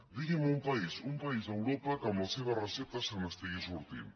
digui’m un país a europa que amb la seva recepta se n’estigui sortint